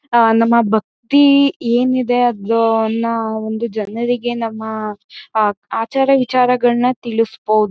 ಆ ನಮ್ಮ ಭಕ್ತಿ ಏನಿದೆ ಆದಾನ್ನ ಒಂದು ಜನರಿಗೆ ನಮ್ಮ ಆಹ್ಹ್ ಆಚಾರ ವಿಚಾರಗಳ್ನ ತಿಳಿಸ್ಬೋದು.